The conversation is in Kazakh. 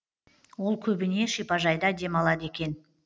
ол көбіне шипажайда демалады екен